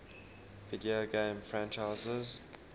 video game franchises